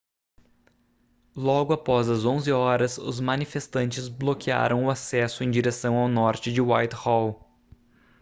logo após as 11h os manifestantes bloquearam o acesso em direção ao norte de whitehall